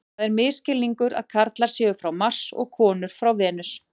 Það er misskilningur að karlar séu frá Mars og konur frá Venus.